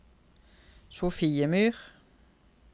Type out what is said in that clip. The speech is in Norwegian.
Sofiemyr